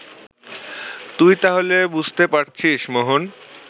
তুই তাহলে বুঝতে পারছিস, মোহন